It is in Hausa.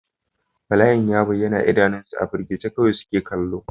Bala'in ya bayyana a idanunsu, a firgice kawai suke kallo.